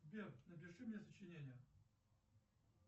сбер напиши мне сочинение